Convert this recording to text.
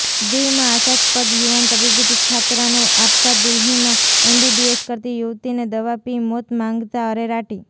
દીવમાં આશાસ્પદ યુવાન તબીબી છાત્રાનો આપઘાત દિલ્હીમાં એમબીબીએસ કરતી યુવતીએ દવા પી મોત માંગતા અરેરાટી